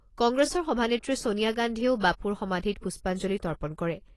কংগ্ৰেছৰ সভানেত্ৰী ছোনিয়া গান্ধীয়েও বাপুৰ সমাধিত পুষ্পাঞ্জলি তৰ্পণ কৰে।